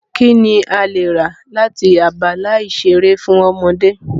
Kí ni o lè rà láti abala ìṣeré fún ọmọdé?